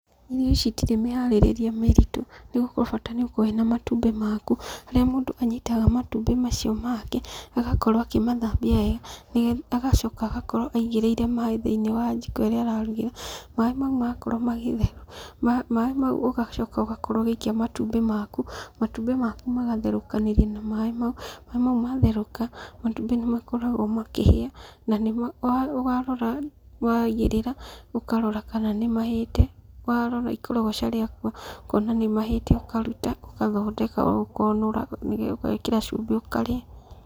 Irio ici itirĩ mĩharĩrĩrie mĩritu nĩgũkorwo bata nĩũkorwo wĩna matumbĩ maku, harĩa mũndũ anyitaga matumbĩ macio make agakorwo akĩmathambia wega, agacoka agakorwo aigĩrĩire maaĩ thĩ-inĩ wa njiko ĩrĩa ararugĩra. Maaĩ macio makorwo magĩtherũka, maaĩ macio ũgacoka ũgakorwo ũgĩikia matumbĩ maku, matumbĩ maku magatherũkanĩria na maaĩ mau. Maaĩ mau matherũka, matumbĩ nĩmakoragwo makĩhĩa, na warora waigĩrĩra, ũkarora kana nĩmahĩte. Warora ikorogoca rĩaku ũkona nĩmahĩte ũkaruta, ũgathondeka, ũkonũra, ũgekĩra cumbĩ ũkarĩa.